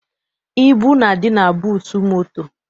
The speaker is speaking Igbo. Ibu na-adị na buutu moto.